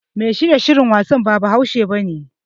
Mashiryin shirin wasan ba Bahaushe bane.